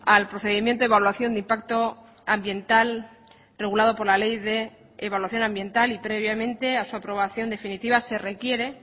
al procedimiento de evaluación de impacto ambiental regulado por la ley de evaluación ambiental y previamente a su aprobación definitiva se requiere